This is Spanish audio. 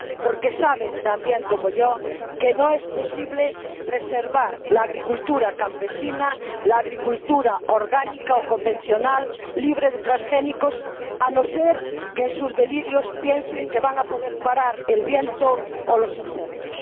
Porque saben ―tan bien como yo― que no es posible preservar la agricultura campesina, la agricultura orgánica o convencional, libre de transgénicos a no ser que en sus delirios piensen que van a poder parar el viento o los insectos.